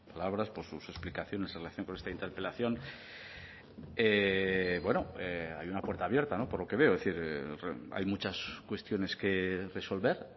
palabras por sus explicaciones en relación con esta interpelación bueno hay una puerta abierta por lo que veo es decir hay muchas cuestiones que resolver